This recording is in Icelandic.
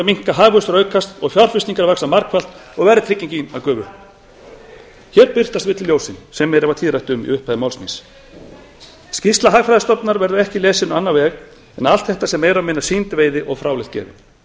að minnka hagvöxtur aukast fjárfestingar vaxa margfalt og verðtryggingin gufa upp hér birtast villuljósin sem mér varð tíðrætt um í upphafi máls míns skýrsla hagfræðistofnunar verður ekki lesin á annan veg en að allt þetta sé meira eða minna sýnd veiði og fráleitt gefin það